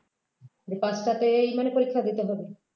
এই পাঁচটাতেই মানে পরীক্ষা দিতে হবে